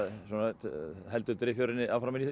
heldur driffjöðrinni í